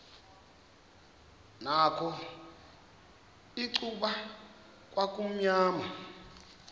nakho icuba kwakumnyama